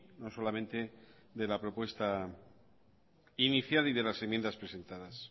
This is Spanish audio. no solamente de la propuesta inicial y de las enmiendas presentadas